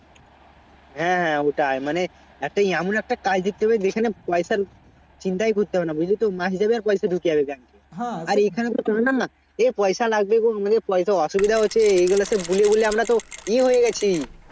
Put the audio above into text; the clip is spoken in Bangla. হ্যাঁ হ্যাঁ ওটাই মানে একটা এমন একটা কাজ দেখতে হবে যেখানে পয়সার চিন্তাই করতে হবে না বুঝলি তো মাস যাবে আর পয়সা ঢুকে যাবে Bank এ আর এখানে তো এ পয়সা লাগবে গো আমাদের পয়সা অসুবিধা হচ্ছে গুলাতে বলে বলে আমরাতো এ হয়ে গেছি